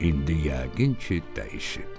İndi yəqin ki, dəyişib".